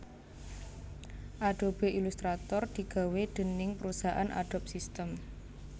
Adobe Illustrator digawé déning parusahan Adobe System